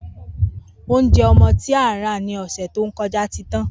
Oúnje̩ o̩mo̩ tí a rà ní ò̩sè̩ tó ko̩já ti tán